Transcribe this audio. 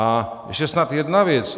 A ještě snad jedna věc.